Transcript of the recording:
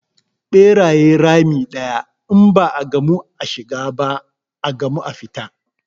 Ɓerayen rami ɗaya, in ba a gamu a shiga ba, a gamu a fita.